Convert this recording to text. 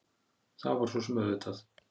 Það var svo sem auðvitað!